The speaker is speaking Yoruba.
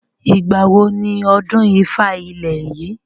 Ìgbàwo ni ọdún ifá ilẹ̀ yìí?